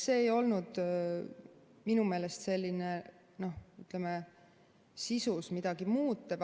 See ei olnud minu meelest sisus midagi muutev.